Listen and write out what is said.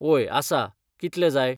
ओय आसा कितले जाय